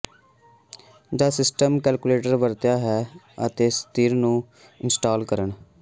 ਜਦ system collector ਵਰਤਿਆ ਹੈ ਅਤੇ ਸ਼ਤੀਰ ਨੂੰ ਇੰਸਟਾਲ ਕਰਨ